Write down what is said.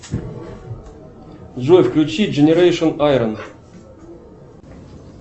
джой включи дженерэцшн айрон